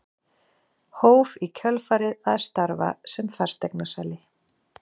Hóf í kjölfarið að starfa sem fasteignasali.